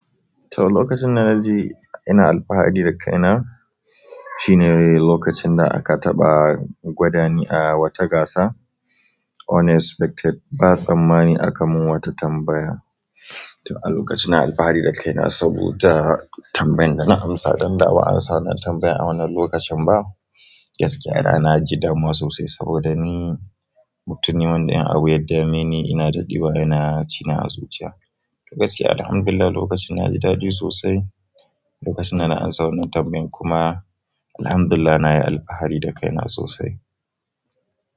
To lokacin da na ji ina alfahari da kaina, shine lokacin da aka taɓa gwadani a wata gasa unexpected. Ba tsammani aka mun wata tambaya. To a lokacin ina alfahari da kaina saboda tambayan da na amsa. Ɗan da ban answer wannan tambayan a wannan lokacin ba. Gaskiya da na ji damuwa sosai saboda ni mutum ne wanda in a abu ya dame ni ina daɗewa yana cina a zuciya. Lokaci alhamdulillah lokacin na ji daɗi sosai. Lokacin da na an sa wannan tambayan kuma alhamdulillah na yi alfahari da kaina sosai.